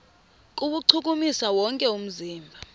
kuwuchukumisa wonke umzimba